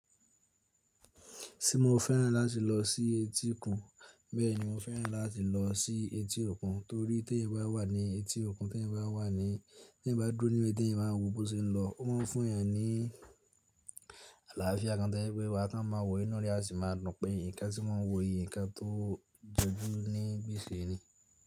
Ṣé mo fẹ́ràn láti lọ sí etíkun? Bẹ́ẹ̀ni mo fẹ́ràn láti lọ sí etí òkun torí tí èyàn bá wà ní etí òkun, tí èyàn bá wà ní, tí èyàn bá dúró níbẹ̀ tí èyàn bá ń wò bó se ń lọ, ó máa ń fún èèyàn ní àlàáfíà kan tó jé pé wà tún máa wò inú rẹ a sì máa dùn pé nǹkan tí mo ń wò yi nǹkan tó jọjú níbí ṣe ni.